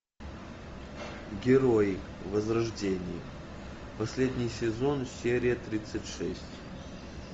герои возрождение последний сезон серия тридцать шесть